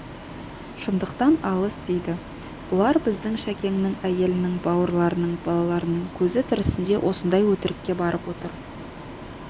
шындықтан алыс дейді бұлар біздің шәкеңнің әйелінің бауырларының балаларының көзі тірісінде осындай өтірікке барып отыр